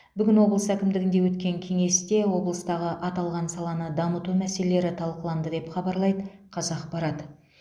бүгін облыс әкімдігінде өткен кеңесте облыстағы аталған саланы дамыту мәселелері талқыланды деп хабарлайды қазақпарат